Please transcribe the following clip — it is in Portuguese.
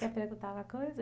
Quer perguntar alguma coisa?